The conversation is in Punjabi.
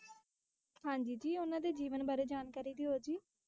ਹਾਂਜੀ ਜੀ ਉਨ੍ਹਾ ਦੇ ਜੀਵਨ ਬਾਰੇ ਜਾਣਕਾਰੀ ਦਿਓ ਜੀ,